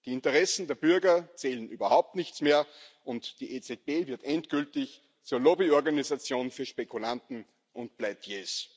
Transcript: Die Interessen der Bürger zählen überhaupt nichts mehr, und die EZB wird endgültig zur Lobbyorganisation für Spekulanten und Pleitiers.